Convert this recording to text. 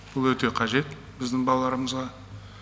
бұл өте қажет біздің балаларымызға